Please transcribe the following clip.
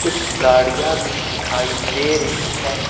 कुछ गाड़ियां भी दिखाई दे रही है।